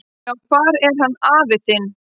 """Já, hvar er hann afi þinn?"""